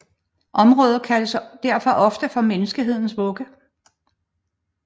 Området kaldes derfor ofte for menneskehedens vugge